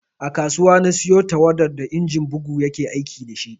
A kasuwa na siyo tawadar da injin bugu ya ke aiki da shi